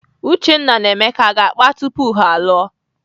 Uchenna na Emeka aga akpa tupu ha alụọ?